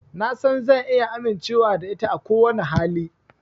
Na san zan iya amincewa da ita a kowane hali.